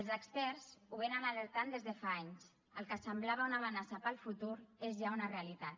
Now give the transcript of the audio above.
els experts ho vénen alertant des de fa anys el que semblava una amenaça per al futur és ja una realitat